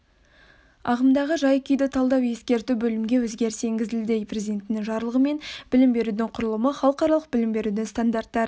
ағымдағы жай-күйді талдау ескерту бөлімге өзгеріс енгізілді президентінің жарлығымен білім берудің құрылымы халықаралық білім берудің стандартты